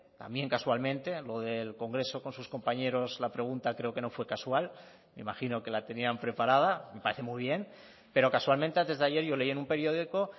también casualmente lo del congreso con sus compañeros la pregunta creo que no fue casual me imagino que la tenían preparada me parece muy bien pero casualmente antes de ayer yo leí en un periódico